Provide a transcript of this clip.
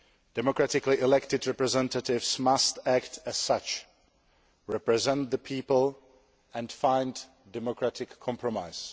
Democratically elected representatives must act as such represent the people and find democratic compromise.